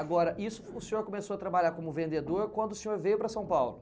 Agora, isso o senhor começou a trabalhar como vendedor quando o senhor veio para São Paulo?